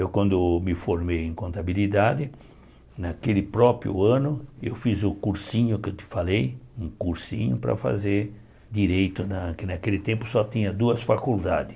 Eu, quando me formei em contabilidade, naquele próprio ano, eu fiz o cursinho que eu te falei, um cursinho para fazer direito, que naquele tempo só tinha duas faculdades.